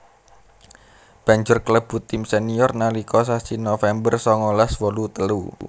Banjur klebu tim senior nalika sasi November songolas wolu telu